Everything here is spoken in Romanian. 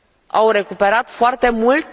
Au recuperat foarte mult?